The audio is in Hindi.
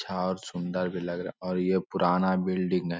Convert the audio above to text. यह सुन्दर भी लग रहा है और पुराना बिल्डिंग है।